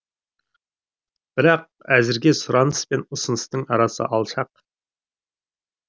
бірақ әзірге сұраныс пен ұсыныстың арасы алшақ